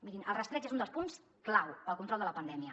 mirin el rastreig és un dels punts clau per al control de la pandèmia